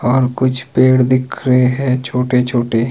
और कुछ पेड़ दिख रहे हैं छोटे छोटे।